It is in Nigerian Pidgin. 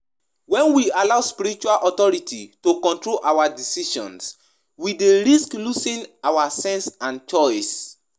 You fit discuss di importance of finding balance between seeking spiritual guidance and trusting our own inner wisdom.